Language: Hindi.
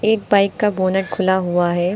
एक बाइक का बोनट खुला हुआ है।